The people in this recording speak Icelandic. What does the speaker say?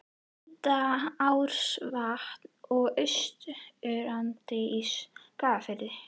Hvítárvatns og í Austurdal í Skagafirði.